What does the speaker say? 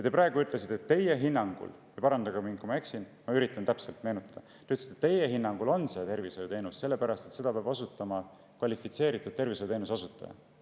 Te praegu ütlesite, et teie hinnangul – parandage mind, kui ma eksin, ma üritan täpselt meenutada – on see tervishoiuteenus sellepärast, et seda peab osutama kvalifitseeritud tervishoiuteenuse osutaja.